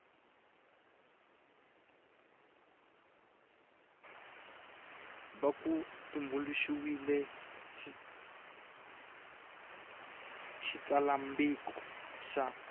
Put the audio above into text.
va ku tumbuluxiwile xitsalwambiko xa